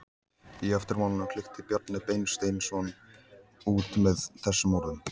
Í eftirmálanum klykkti Bjarni Beinteinsson út með þessum orðum